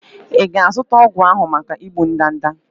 Ị na-azụta ọgwụ ahụhụ maka igbu ndanda?